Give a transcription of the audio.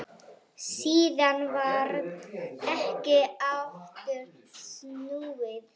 Síðan varð ekki aftur snúið.